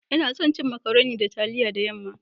Ina son cin " macaroni" da taliya da yam'ma